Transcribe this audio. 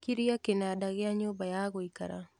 kiria kĩnanda gĩa nyũmba ya gũikara